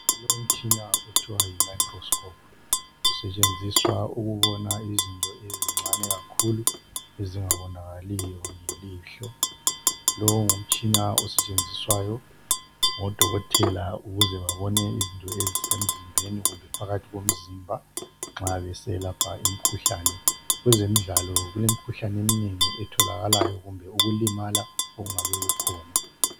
kulomtshina okuthwa yi microscope usetshenziswa ukubona izinto ezincane kakhulu ezingabonakaliyo nge lihlo lowu ngumsthina osetshenziswayo ngo dokotela ukuze babone izinto ezisemzimbeni kumbe phakathi komzimba nxa beselapha imikhuhlane kwezemdlalo kulemkhuhlane emnengi etholakalayo kumbe ukulimala okungabe kukhona